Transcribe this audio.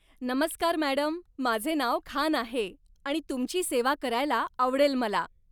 नमस्कार मॅडम, माझे नाव खान आहे आणि तुमची सेवा करायला आवडेल मला.